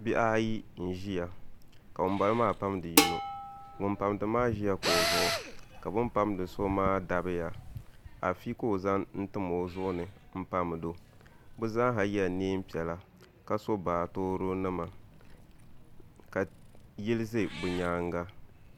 Bihi ayi n ʒiya ka ŋunbala maa pamdi yino ŋun pamdi maa ʒila kuɣu zuɣu ka bin pamdi so maa dabiya afi ka o zaŋ n tim o zuɣu ni n pamdo bi zaaha yɛla neen piɛla ka so baatoro nima ka yili ʒɛ bi nyaanga